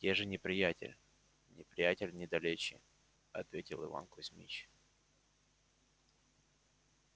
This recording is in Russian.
где же неприятель неприятель недалече ответил иван кузмич